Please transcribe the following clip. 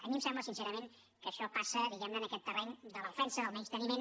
a mi em sembla sincerament que això passa diguem ne en aquest terreny de l’ofensa del menysteniment